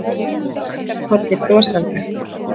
Mamma hennar kinkar kolli brosandi.